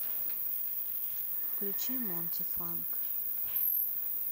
включи монти фанк